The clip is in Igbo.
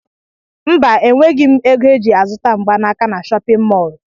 Mba enweghị m égo eji azụta mgbanaka n'shóppin mol.